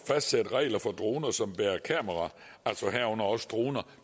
fastsætte regler for droner som bærer kameraer herunder også droner